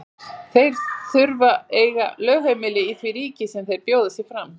Þeir þurfa að eiga lögheimili í því ríki sem þeir bjóða sig fram.